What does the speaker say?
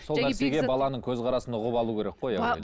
сол нәрсеге баланың көзқарасын ұғып алу керек қой яғни